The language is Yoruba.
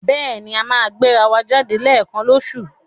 Bẹ́ẹ̀ni, a máa ń gbéra wa jáde léẹ̀kan lóṣoòṣù.